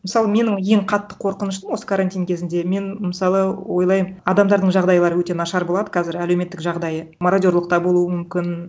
мысалы менің ең қатты қорқынышым осы карантин кезінде мен мысалы ойлаймын адамдардың жағдайлары өте нашар болады қазір әлеуметтік жағдайы мародерлық та болуы мүмкін